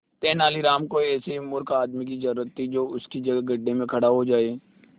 तेनालीराम को ऐसे ही मूर्ख आदमी की जरूरत थी जो उसकी जगह गड्ढे में खड़ा हो जाए